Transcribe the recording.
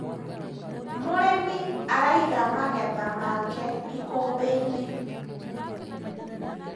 mũrĩmi araiga magetha make ikumbi-inĩ